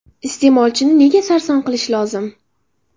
Iste’molchini nega sarson qilish lozim?